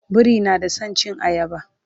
biri na da San cin ayaba